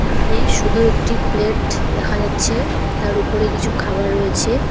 এখানে শুধু একটি প্লেট দেখা যাচ্ছে তার উপরে কিছু খাওয়ার রয়েছে।